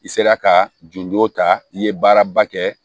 I sera ka jujo ta i ye baaraba kɛ